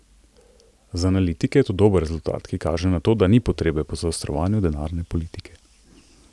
Za analitike je to dober rezultat, ki kaže na to, da ni potrebe po zaostrovanju denarne politike.